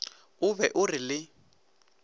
o be o re le